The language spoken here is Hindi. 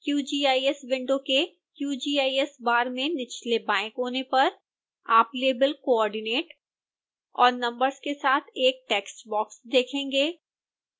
qgis विंडो के qgis बार में निचले बाएं कोने पर आप लेबल coordinate और नंबर्स के साथ एक टेक्स्ट बॉक्स देखेंगे